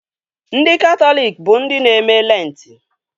Ndị Katọlik bụ ndị na-eme Lentị